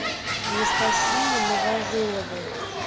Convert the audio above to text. анастасией новожиловой